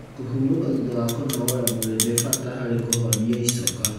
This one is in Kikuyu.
Kũhurũka thutha wa kũnogora mwĩri nĩ bata harĩ kũhonĩa icoka.